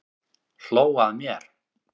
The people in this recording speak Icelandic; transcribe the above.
Hló að mér!